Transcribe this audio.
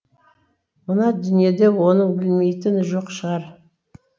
мына дүниеде оның білмейтіні жоқ шығар